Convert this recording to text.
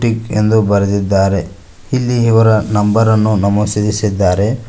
Kick ಎಂದು ಬರೆದಿದ್ದಾರೆ ಇಲ್ಲಿ ಇವರ ನಂಬರ್ ಅನ್ನು ನಮೂಸಿದಿಸಿದ್ದಾರೆ.